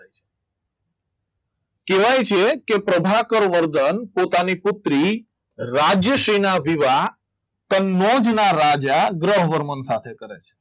કહેવાય છે કે પ્રભાકર વર્ધન પોતાની પુત્રી રાજ્ય શ્રી ના વિવાહ કનોજ ના રાજા ગ્રહવર્ધન સાથે કરે છે